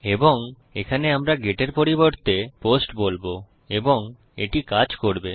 এবং এখানে আমরা গেট এর পরিবর্তে পোস্ট বলবো এবং এটি কাজ করবে